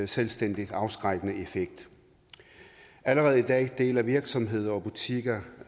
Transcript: selvstændig afskrækkende effekt allerede i dag deler virksomheder og butikker